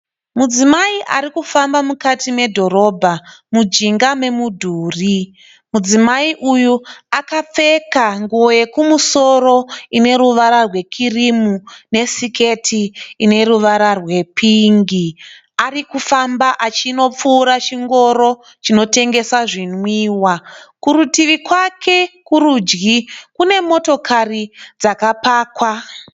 Mudzimai ari kufamba mukati medhorobha mujinga memudhuri, mudzimai uyu akapfeka nguwo yekumusoro ine ruvara rwe kirimu nesiketi ine ruvara rwe pingi. Arikufamba achinopfuura chingoro chinotengesa zvonwiwa. Kurutivi rwake kurudyi kune motikari dzakapakwa.